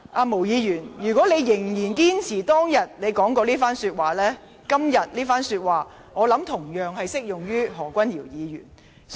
毛議員，如果你仍然堅持當天的言論，你當天的言論今天同樣適用於何君堯議員身上。